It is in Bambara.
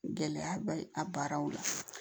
Gɛlɛya bɛ a baaraw la